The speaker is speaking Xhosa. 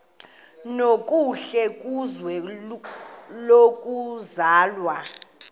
nokuhle kwizwe lokuzalwa